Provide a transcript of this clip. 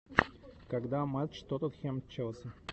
когда матч тоттенхэм челси